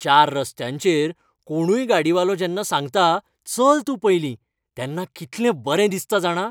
चार रस्त्यांचेर कोणूय गाडीवालो जेन्ना सांगता, चल तूं पयलीं, तेन्ना कितलें बरें दिसता जाणा.